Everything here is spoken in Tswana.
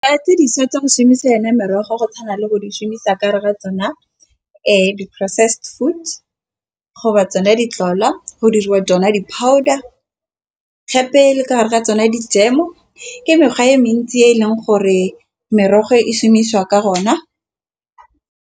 Dišwa tsa go šhumisa yona merogo go tshwana le go di šhumisa ka rera tsona di-processed food go ba tsona di tlolwa go diriwa tsona di-powder gape le ka gare ga tsone dijemo ke mekgwa e mentsi e e leng gore merogo e šhumisa ka gona.